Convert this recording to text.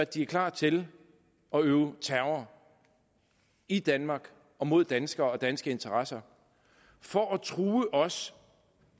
de er klar til at udøve terror i danmark og mod danskere og danske interesser for at true os